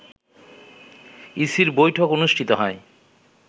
ইসির বৈঠক অনুষ্ঠিত হয়